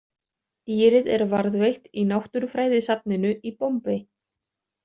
Dýrið er varðveitt í Náttúrufræðisafninu í Bombay.